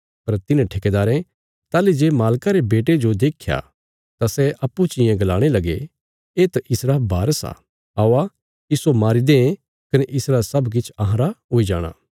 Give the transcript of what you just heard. पर तिन्हे ठेकेदारें ताहली जे मालका रे बेटे जो देख्या तां सै अप्पूँ चियें गलाणे लगे येत इसरा बारस आ औआ इस्सो मारी दें कने इसरा सब किछ अहांरा हुई जाणा